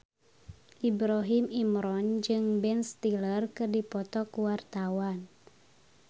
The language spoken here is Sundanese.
Ibrahim Imran jeung Ben Stiller keur dipoto ku wartawan